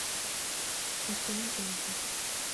океан эльзы